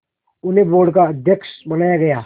उन्हें बोर्ड का अध्यक्ष बनाया गया